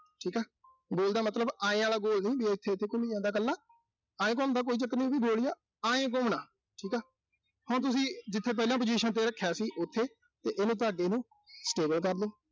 ਠੀਕਾ। ਗੋਲ ਦਾ ਮਤਲਬ ਆਏਂ ਆਲਾ ਗੋਲ ਨੀਂ, ਵੀ ਉਥੇ-ਉਥੇ ਘੁੰਮੀਂ ਆਂਦਾ ਕੱਲ੍ਹਾ। ਆਏਂ ਘੁੰਮਦਾ ਕੋਈ ਚੱਕਰ ਨੀਂ, ਤੁਸੀਂ ਗੋਲ ਇਹ ਆਏਂ ਘੁੰਮਣਾ ਠੀਕਾ। ਹੁਣ ਤੁਸੀਂ ਜਿੱਥੇ ਪਹਿਲਾਂ position ਤੇ ਰੱਖਿਆ ਸੀ। ਉਥੇ ਇਹਨੂੰ ਤੁਹਾਡੀ ਨੂੰ stable ਕਰਲੋ।